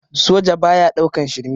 Soja baya ɗaukan shirme